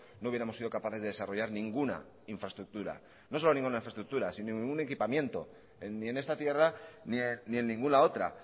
no hubiéramos sido capaces de desarrollar ninguna infraestructura no solo ninguna infraestructura sino ningún equipamiento ni en esta tierra ni en ninguna otra